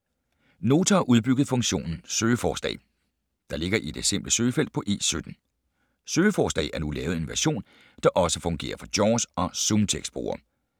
Nota har udbygget funktionen ”Søgeforslag”, der ligger i det simple søgefelt på E17. ”Søgeforslag” er nu lavet i en version, der også fungerer for JAWS og ZoomText-brugere.